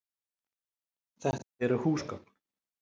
Þetta eru húsgögn.